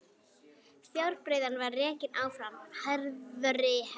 Fjárbreiðan var rekin áfram harðri hendi.